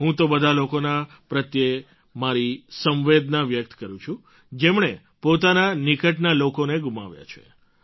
હું તે બધાં લોકોના પ્રત્યે મારી સંવેદના વ્યક્ત કરું છું જેમણે પોતાના નિકટના લોકોને ગુમાવ્યા છે